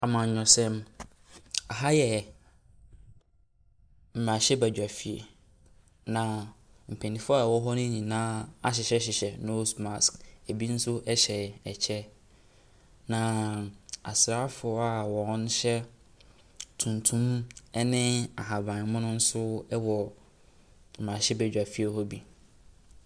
Amanyɔsɛm, aha yɛ mmarahyɛbadwafie, na mpanimfoɔ a wɔwɔ hɔ no nyinaa ahyehyɛhyehyɛ nose mask, ɛbi nso hyɛ ɛkyɛ, naaa asraafoɔ a wɔhyɛ tuntum ne ahabammono nso wɔ mmarahyɛbadwafie hɔ bi.